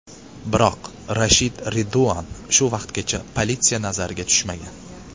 Biroq Rashid Reduan shu vaqtgacha politsiya nazariga tushmagan.